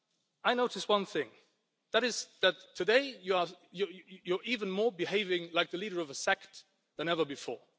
I noticed one thing and that is that today you are even more behaving like the leader of a sect than ever before.